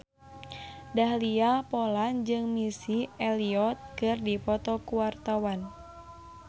Dahlia Poland jeung Missy Elliott keur dipoto ku wartawan